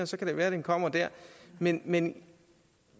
så kan det være at den kommer der men men